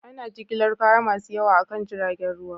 Ana jigilar kaya masu yawa akan jiragen ruwa